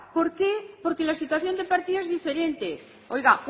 por qué porque la situación de partida es diferente oiga